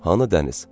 Hani dəniz?